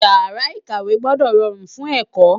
Ìyàrá-ìkàwé gbọ́dọ̀ rọrùn fún ẹ̀kọ́.